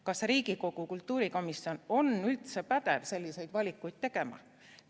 Kas Riigikogu kultuurikomisjon on üldse pädev selliseid valikuid tegema?